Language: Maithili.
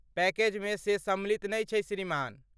पैकेजमे से सम्मिलित नै छै श्रीमान।